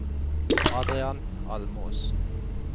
Adrian Almås